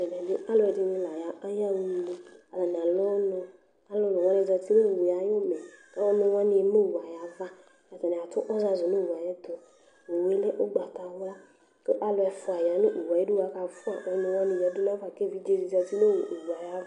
Ɛmɛ alu ɛdini layaɣa une atani alu ɔnu alulu wani za uti nu uwu yɛ ayu umɛ ɔnuwani eme owu yɛ ava Atani atu ɔzazu nu owu yɛ ayu ɛtu Owu yɛ lɛ ugbatawla Ku alu ɛfua ya nu owu yɛ ayidu ku akafua ɔnuwani yadu nu ava ku evidze di za uti nu owu yɛ ayu